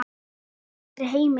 er hér aldrei heimil.